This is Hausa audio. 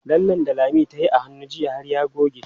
Lallen da Lami tayi a hannu jiya har ya goge.